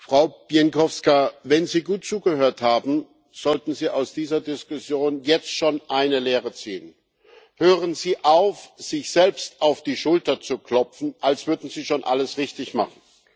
Frau Bieńkowska, wenn Sie gut zugehört haben, sollten Sie aus dieser Diskussion jetzt schon eine Lehre ziehen Hören Sie auf, sich selbst auf die Schulter zu klopfen, als würden Sie schon alles richtig machen!